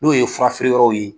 N'o ye furafeereyɔrɔw ye.